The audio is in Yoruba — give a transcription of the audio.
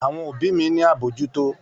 Àwọn òbí mi ní àbójútó